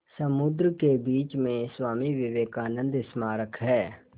समुद्र के बीच में स्वामी विवेकानंद स्मारक है